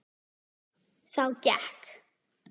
Þá gekk